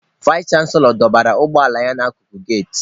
Vais chanselọ dọbara ụgbọ ala ya n'akụkụ geti.